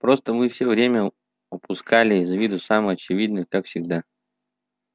просто мы всё время упускали из виду самое очевидное как всегда